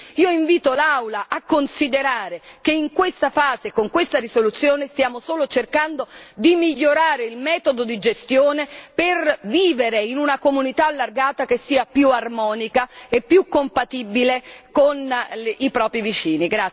Io invito l'Aula a considerare che in questa fase e con questa risoluzione stiamo solo cercando di migliorare il metodo di gestione per vivere in una comunità allargata che sia più armonica e più compatibile con i propri vicini.